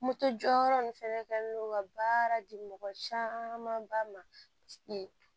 Moto jɔyɔrɔ nin fɛnɛ kɛ ka baara di mɔgɔ camanba ma